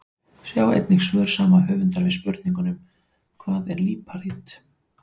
Sjá einnig svör sama höfundar við spurningunum: Hvað er líparít?